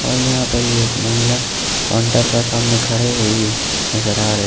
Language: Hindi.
और यहां पर एक महिला काउंटर का सामने खड़े हुए भी नजर आ रहे--